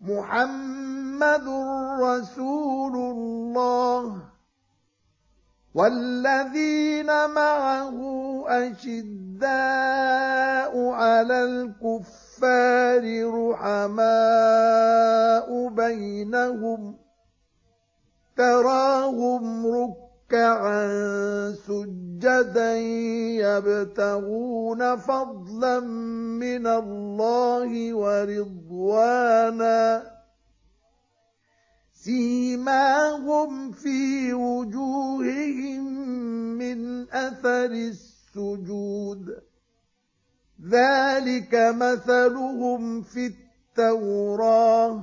مُّحَمَّدٌ رَّسُولُ اللَّهِ ۚ وَالَّذِينَ مَعَهُ أَشِدَّاءُ عَلَى الْكُفَّارِ رُحَمَاءُ بَيْنَهُمْ ۖ تَرَاهُمْ رُكَّعًا سُجَّدًا يَبْتَغُونَ فَضْلًا مِّنَ اللَّهِ وَرِضْوَانًا ۖ سِيمَاهُمْ فِي وُجُوهِهِم مِّنْ أَثَرِ السُّجُودِ ۚ ذَٰلِكَ مَثَلُهُمْ فِي التَّوْرَاةِ ۚ